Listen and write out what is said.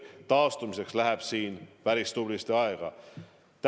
Taastumiseks läheb päris tublisti aega.